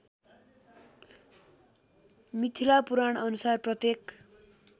मिथिला पुराणअनुसार प्रत्येक